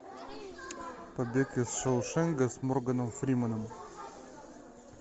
побег из шоушенка с морганом фрименом